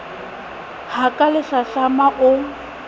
ha ka le hlahlamang o